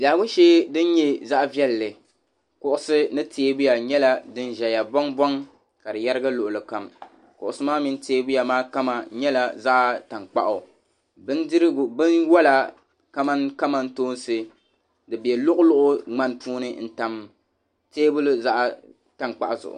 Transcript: Biɛhigu shee din nyɛ zaɣ'viɛlli kuɣusi ni teebuya nyɛla din ʒeya bɔŋbɔŋ ka yɛrigi luɣili kam kuɣusi mini teebuya maa kama nyɛla zaɣ'tankpaɣu binwala kamani kamantoonsi di be luɣiluɣi ŋmani puuni n-tam teebuli zaɣ'tankpaɣu.